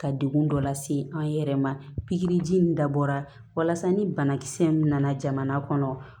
Ka degun dɔ lase an yɛrɛ ma pikiriji in dabɔra walasa ni banakisɛ min nana jamana kɔnɔ